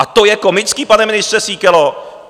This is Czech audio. A to je komický, pane ministře Síkelo?